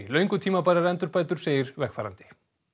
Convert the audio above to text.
löngu tímabærar endurbætur segir vegfarandi